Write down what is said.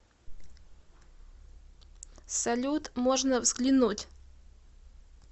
салют можно взглянуть